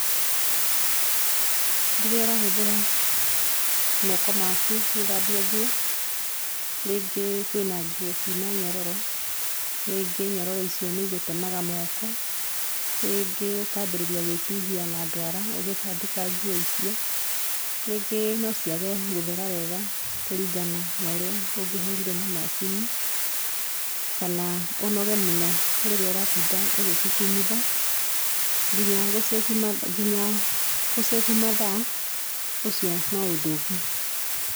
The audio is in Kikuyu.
Rĩrĩa ũrahũthĩra moko maku gũthambia nguo, rĩngĩ kwĩna nguo ciĩna nyororo rĩngĩ nyororo icio nĩ igũtemaga moko, rĩngĩ ũkanjĩrĩria gwĩtihia na ndwara ũgĩtanduka nguo icio, rĩngĩ no ciage gũthera wega kũringana na ũrĩa ũngĩhũrire na macini kana ũnoge mũno rĩrĩa ũratinda ũgĩcikumutha, nginya gũcĩbũ mathaa ũcio nĩũndũ ũngĩ.